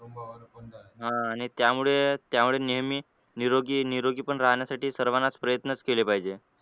हा आणि त्यामुळे त्यामुळे नेहमी निरोगी निरोगी पण राहण्यासाठी सर्वांनाच प्रयत्न केले पाहिजे.